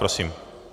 Prosím.